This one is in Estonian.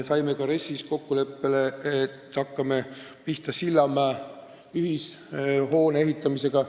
RES-i arutades saime kokkuleppele, et hakkame pihta Sillamäe ühishoone ehitamisega.